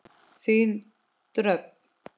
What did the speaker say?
Þín Dröfn.